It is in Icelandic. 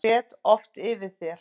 Ég grét oft yfir þér.